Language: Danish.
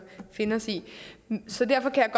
finde os i så derfor kan